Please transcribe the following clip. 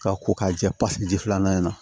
K'a ko k'a jɛ pasiki ji filanan in na